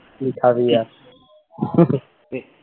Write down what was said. কী খাবি আর